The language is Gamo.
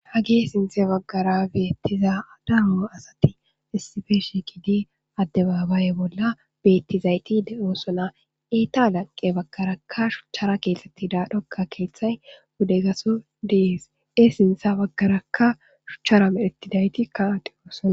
ha gee sinthe baggara beyettiza adamo asati issife shi kidi addebaabaye bolla beettizayti de7oosona eita laqqe baggaraka shuchchara keexxetti daa dhokka keeththay wude gaso diise sintha baggarakka shuchchara medhetidayti ka ati oosona